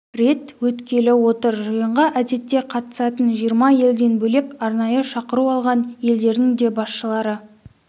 рет өткелі отыр жиынға әдетте қатысатын жиырма елден бөлек арнайы шақыру алған елдердің де басшылары